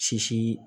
Sisi